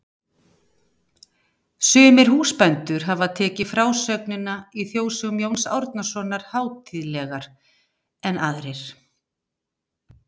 Sumir húsbændur hafa tekið frásögnina í Þjóðsögum Jóns Árnasonar hátíðlegar en aðrir.